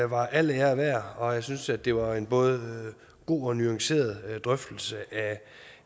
var al ære værd og jeg synes det var en både god og nuanceret drøftelse af